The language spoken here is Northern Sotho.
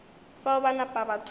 fao ba napa ba thoma